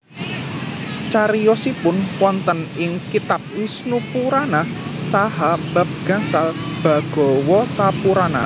Cariyosipun wonten ing kitab Wisnupurana saha bab gangsal Bhagawatapurana